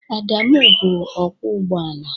Adamụ bụ ọkwọ ụgbọ ala.